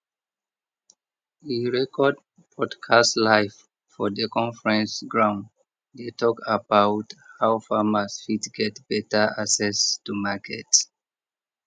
e record podcast live for the conference ground dey talk about how farmers fit get better access to market